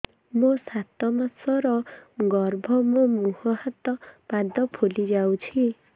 ମୋ ସାତ ମାସର ଗର୍ଭ ମୋ ମୁହଁ ହାତ ପାଦ ଫୁଲି ଯାଉଛି